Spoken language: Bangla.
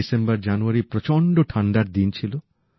ডিসেম্বর জানুয়ারির প্রচন্ড ঠান্ডার দিন ছিল